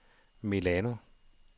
Milano